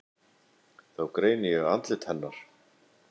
Þá greini ég andlit hennar.